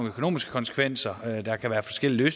økonomiske konsekvenser der kan være forskellige